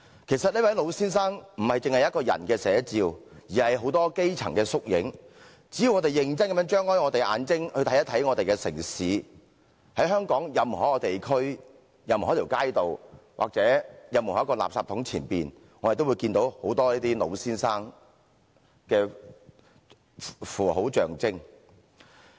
其實這位老先生是眾多基層人士的縮影，只要我們認真地張開眼睛去看看我們的城市，在香港任何一個地區，任何一條街道，或任何一個垃圾桶前，我們也可看到很多這些"老先生"。